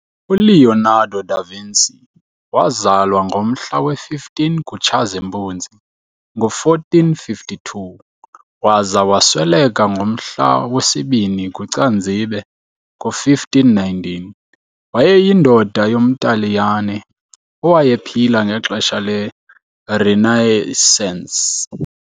ULeonardo da Vinci wazalwa ngomhla we-15 kuTshazimpuzi ngo1452 - waza wasweleka ngomhla wesi-2 kuCanzibe ngo1519, wayeyindoda yomTaliyane owayephila ngexesha le Renaissance.